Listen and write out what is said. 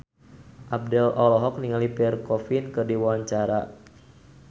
Abdel olohok ningali Pierre Coffin keur diwawancara